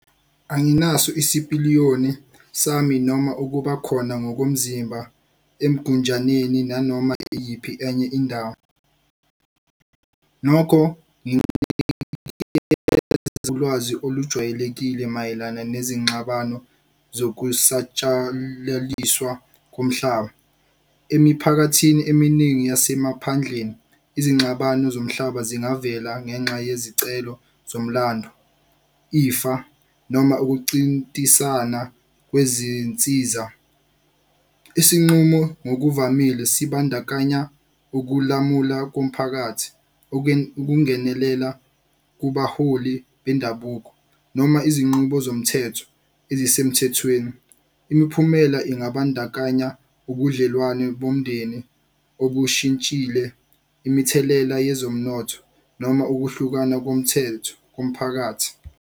Anginaso isipiliyoni sami noma ukuba khona ngokomzimba eMgunjaneni nanoma iyiphi enye indawo. Nokho ulwazi olujwayelekile mayelana nezingxabano zokusatshalaliswa komhlaba. Emiphakathini eminingi yasemaphandleni, izingxabano zomhlaba zingavela ngenxa yezicelo zomlando, ifa, noma ukuncintisana kwezinsiza. Isinqumo ngokuvamile sibandakanya ukulamula komphakathi, ukungenelela kubaholi bendabuko, noma izinqubo zomthetho ezisemthethweni. Imiphumela ingabandakanya ubudlelwane bomndeni obushintshile imithelela yezomnotho, noma ukuhlukana komthetho komphakathi.